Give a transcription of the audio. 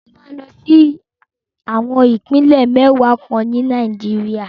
Mo máa lọ sí àwọn Ìpínlẹ̀ mẹ́wàá kan ní Nàìjíríà.